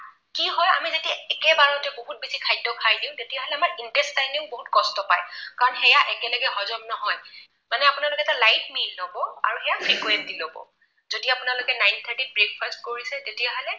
কি হয়, আমি যদি একেবাৰতে বহুত বেছি খাদ্য খাই দিও তেতিয়াহলে আমাৰ intestine য়েও বহুত কষ্ট পায়। কাৰণ সেয়া একেলগে হজম নহয়। মানে আপোনালোকে এটা light meal লব আৰু ইয়াক frequently লব। যদি আপোনালোকে nine-thirty ত breakfast কৰিছে তেতিয়াহলে